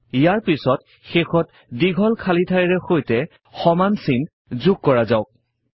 ইয়াৰ পাছত শেষত দীঘল খালী ঠাইৰে সৈতে সমান চিন যোগ কৰা যাওক